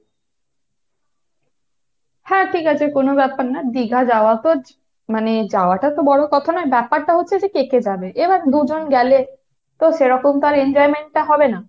হ্যাঁ ঠিক আছে কোন ব্যাপার না। দীঘা যাওয়া তো মানে যাওয়াটা তো বড় কথা না, ব্যাপারটা হচ্ছে যে কে কে যাবে। এবার দুজন গেলে তো সেরকম তো আর enjoyment টা হবে না।